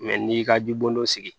n'i y'i ka jibon dɔ sigi